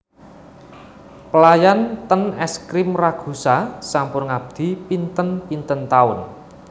Pelayan ten Es Krim Ragusa sampun ngabdi pinten pinten taun